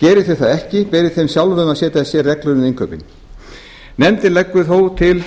geri þau það ekki beri þeim sjálfum að setja sér reglur um innkaup nefndin leggur þó til